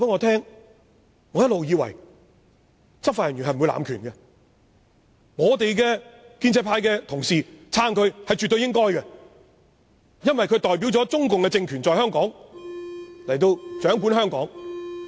他一直以為執法人員不會濫權，而建制派絕對應該支持警察，因為他們代表中共政權掌管香港。